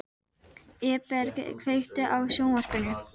Eberg, kveiktu á sjónvarpinu.